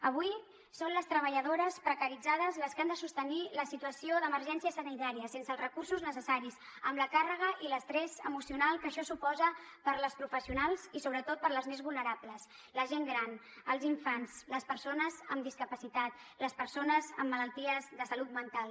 avui són les treballadores precaritzades les que han de sostenir la situació d’emergència sanitària sense els recursos necessaris amb la càrrega i l’estrès emocional que això suposa per a les professionals i sobretot per a les més vulnerables la gent gran els infants les persones amb discapacitat les persones amb malalties de salut mental